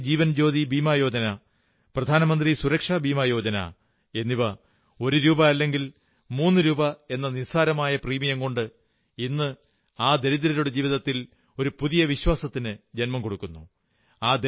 പ്രധാനമന്ത്രി ജീവൻജ്യോതി ബീമാ യോജനാ പ്രധാനമന്ത്രി സുരക്ഷാ ബീമാ യോജനാ എന്നിവ ഒരു രൂപാ അല്ലെങ്കിൽ മൂന്നു രൂപാ എന്ന നിസ്സാരമായ പ്രീമിയം കൊണ്ട് ഇന്ന് ആ ദരിദ്രരുടെ ജീവിതത്തിൽ ഒരു പുതിയ വിശ്വാസത്തിന് ജന്മം കൊടുക്കുന്നു